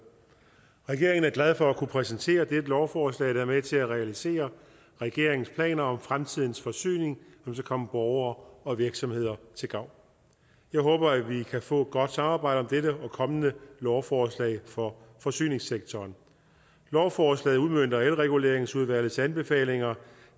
regeringen er glad for at kunne præsentere dette lovforslag der er med til at realisere regeringens planer om fremtidens forsyning som skal komme borgere og virksomheder til gavn jeg håber at vi kan få et godt samarbejde om dette og kommende lovforslag for forsyningssektoren lovforslaget udmønter elreguleringsudvalgets anbefalinger